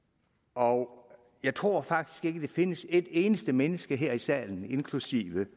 og jeg tror faktisk ikke der findes et eneste menneske her i salen inklusive